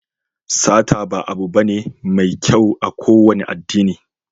Sata ba abu bane mai kyau a kowane addini.